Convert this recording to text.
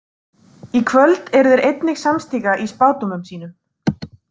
Í kvöld eru þeir einnig samstíga í spádómum sínum.